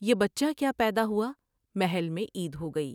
یہ بچہ کیا پیدا ہوا محل میں عید ہوگئی ۔